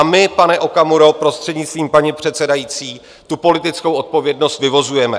A my, pane Okamuro, prostřednictvím paní předsedající, tu politickou odpovědnost vyvozujeme.